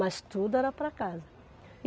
Mas tudo era para casa.